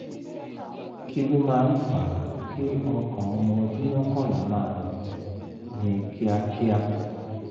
ki lo ma n fa ki okan omo odun mokanla maa gbon ni kiakia?